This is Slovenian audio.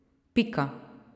Pika.